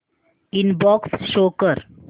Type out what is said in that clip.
inbox show कर